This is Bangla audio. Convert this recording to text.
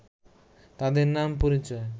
তাদের নাম পরিচয়